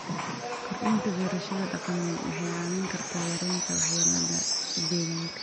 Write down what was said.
Kordhinta beerashada dhaqameed waxay caawin kartaa yareynta waxyeelada deegaanka.